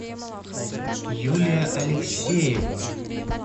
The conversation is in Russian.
юлия алексеевна